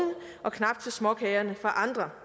og knap til småkagerne for andre